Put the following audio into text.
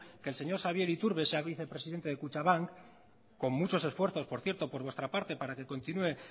que el señor xabier iturbe sea vicepresidente de kutxabank con muchos esfuerzos por cierto por vuestra parte para que continúe